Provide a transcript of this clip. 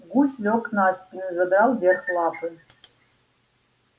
гусь лёг на спину и задрал вверх лапы